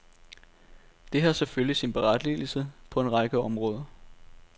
Det har selvfølgelig sin berettigelse på en række områder.